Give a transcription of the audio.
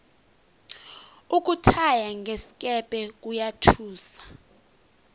ukuthaya ngesikepe kuyathusa